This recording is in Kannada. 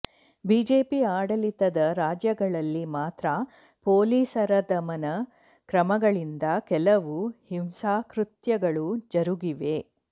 ಬಿಜೆಪಿ ಆಡಳಿತದ ರಾಜ್ಯಗಳಲ್ಲಿ ಮಾತ್ರ ಪೋಲಿಸರದಮನ ಕ್ರಮಗಳಿಂದ ಕೆಲವು ಹಿಂಸಾಕೃತ್ಯಗಳು ಜರುಗಿವೆ